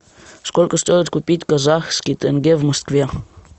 сколько стоит купить казахский тенге в москве